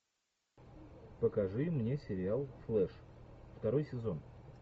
покажи мне сериал флэш второй сезон